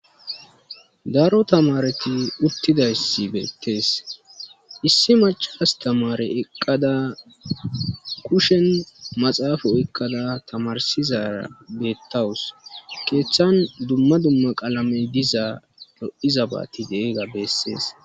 Daro tamareti uttidayssi beettees issi macha astamare eqqada kushen maxaafo ekkada tamarsizara beettawus keeththan dumma dumma qaalamey dizaa lo7iza baati dee ga beessees.